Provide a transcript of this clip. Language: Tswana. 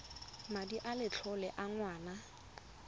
madi a letlole a ngwana